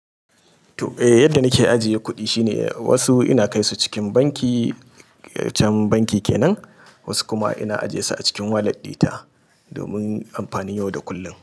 To, eh yadda nake ajiye kuɗi shine wasu ina kai su cikin banki, can banki kenan, wasu kuma ina ajiyesu a cikin wallet dina domin amfani yau da kullum.